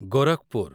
Gorakhpur